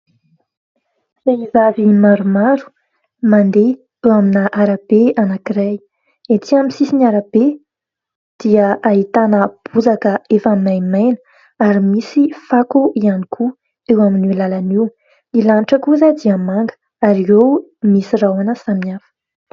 Vehivavy maromaro mandeha teo amina arabe anankiray. Etsỳ amin'ny sisiny arabe dia ahitana bozaka efa maimaina ary misy fako ihany koa eo amin'io lalana. Ny lanitra kosa dia manga ary eo misy rahona samihafa.